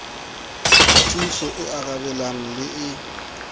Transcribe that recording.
thusong e arabelang le e